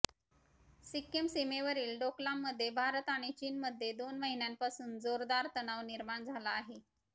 सिक्किम सीमेवरील डोकलाममध्ये भारत आणि चीनमध्ये दोन महिन्यांपासून जोरदार तणाव निर्माण झाला आहे